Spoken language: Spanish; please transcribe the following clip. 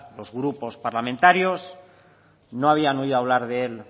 los grupos parlamentarios no habían oído hablar de él